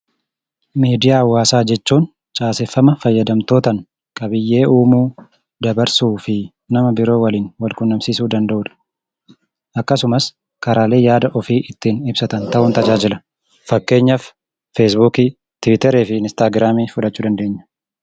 Miidiyaa Hawwaasaa jechuun caaseffama fayyadamtootaan qabiyyee uumuu, dabarsuu fi nama biroo wajjin wal quunnamsiisuu danda’udha. Akkasumas karaalee ittiin yaada ofii ibsatan ta'uun tajaajila. Fakkeenyaaf Feesbuukii, Tiwuutarii fi Inistaagiraamii fudhachuu dandeenya.